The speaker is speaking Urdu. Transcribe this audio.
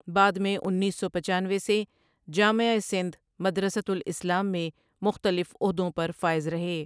بعد میں انیس سو پچانوے سے جامعہ سندھ مدرستہ الاسلام میں مختلف عہدوں پہ فائز رہے ۔